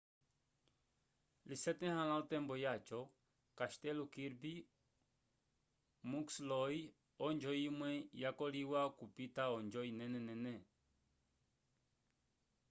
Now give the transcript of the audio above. lisetãhala otembo yaco castelo kirby muxloe onjo imwe yakoliwa okupita onjo inenenene